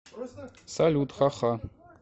салют ха ха